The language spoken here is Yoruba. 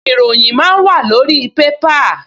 Ìròyìn máa ń wàlórí pépà